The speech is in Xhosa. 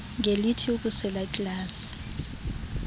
ngelithi ukusela iglasi